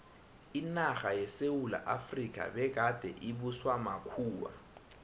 inarha yesewula efrika begade ibuswa makhuwa